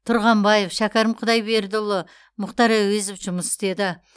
тұрғанбаев шәкәрім құдайбердіұлы мұхтар әуезов жұмыс істеді